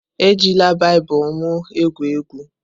Ejila Baịbụl m egwu egwu!